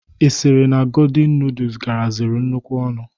Ị sịrị na godin nudus garaziri nnukwu ọnụ?